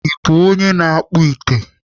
Ị bụ onye na-akpụ ite?